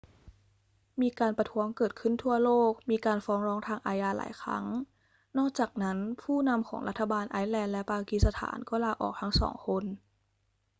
มีการประท้วงเกิดขึ้นทั่วโลก มีการฟ้องร้องทางอาญาหลายครั้ง นอกจากนั้นผู้นำของรัฐบาลไอซ์แลนด์และปากีสถานก็ลาออกทั้งสองคน